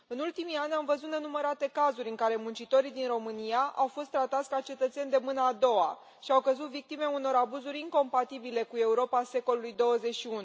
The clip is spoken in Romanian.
În ultimii ani, am văzut nenumărate cazuri în care muncitorii din România au fost tratați ca cetățeni de mâna a doua și au căzut victime unor abuzuri incompatibile cu Europa secolului XXI.